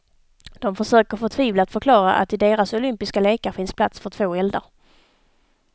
De försöker förtvivlat förklara att i deras olympiska lekar finns plats för två eldar.